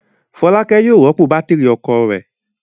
Fọlákẹ́ yóò rọ́pò bátírí ọkọ̀ rẹ̀.